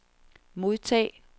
modtag